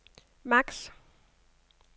maks